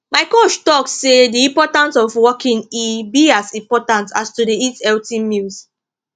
my coach talk say the importance of walking e be as important as to dey eat healthy meals